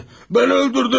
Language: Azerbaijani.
Mən öldürdüm!